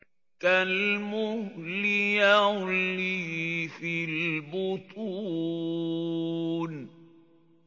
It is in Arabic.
كَالْمُهْلِ يَغْلِي فِي الْبُطُونِ